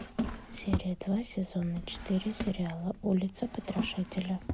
серия два сезона четыре сериала улица потрошителя